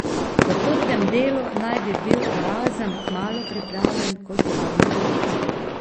Po trdem delu naj bi bil Erazem kmalu pripravljen, kot je bil nekoč.